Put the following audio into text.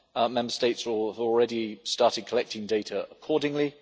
Member States will already have started collecting data accordingly.